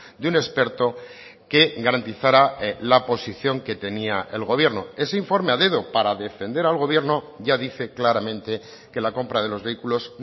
de un experto que garantizara la posición que tenía el gobierno ese informe a dedo para defender al gobierno ya dice claramente que la compra de los vehículos